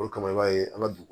O de kama i b'a ye an ka dun